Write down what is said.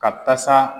Ka tasa